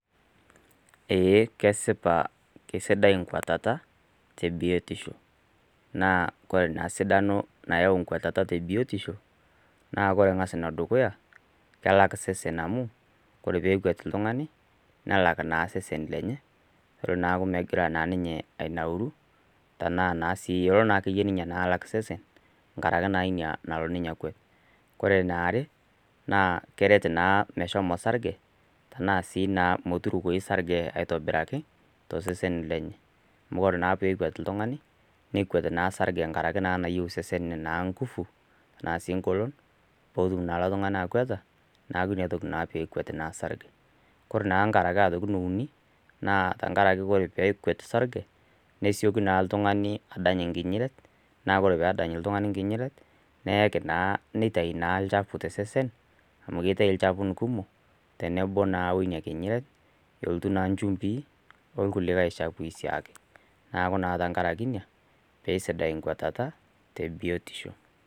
Ee kesipa kesidai enkwatata te biotisho, naa kore ena sidano nayau enkwetata te biotisho, naa kore eng'as ene dukuya, kelak osesen amu, kore pee ekwet oltung'ani, nelak naa osesen lenye, nelo naa aakuu megira naa ninye anauru, tanaa sii elo naa alak ake iye ninye osesen, enkarake ina naa nalo ninye akwet. Ore ene are, naa keret naa meshomo osarge, tanaa sii naa meturukoyyu osarge aitobiraki, tosesen lenye, amu ore naa pee ekwet oltung'ani, nekwet naa osrge tenkaraki naa nayiou naa osesen naa inguvu, anaasii eng'olon, pee etumoki ele tung'ani akweta, neaku ina toki naa peekwet naa osrage. Kore naa aitoki ene uni naa, ore ake pee ekwet osarge, neitoki naa oltung'ani adany enkinyinyiret, naa ore pee edany oltung'ani naa enkinyinyiret, neitayu naa olchafu naa tosesen, amu keittayu ilchafun kuumok, tenebau naa wuina kinyinyiret, elotu naa inchumpii olikai chafuin naa dii ake. Neaku naa tenkaraki iina pee sidai enkwetata te biotisho.